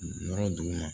Yɔrɔ duguma